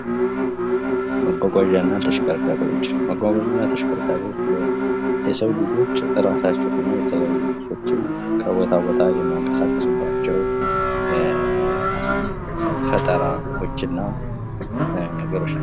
መጓጓዣ እና ተሽከርካሪዎች የሰው ልጆች እራሳቸውን እና የተለያዩ ሰዎችን ከቦታ ቦታ የሚንቀሳቀሱ ባላቸው ፈጠረዎች እና ነገሮች ናቸው።